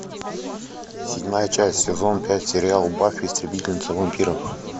седьмая часть сезон пять сериал баффи истребительница вампиров